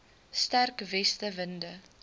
sterk weste winde